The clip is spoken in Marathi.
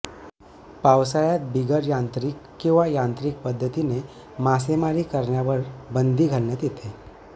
पावसाळय़ात बिगर यांत्रिक किंवा यांत्रिक पद्धतीने मासेमारी करण्यावर बंदी घालण्यात येते